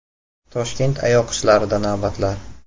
Toshkent AYoQShlarida navbatlar .